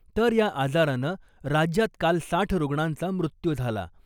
तर या आजारानं राज्यात काल साठ रुग्णांचा मृत्यू झाला .